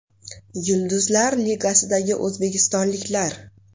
Yulduzlar ligasidagi o‘zbekistonliklar.